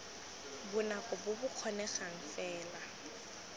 bonako bo bo kgonegang fela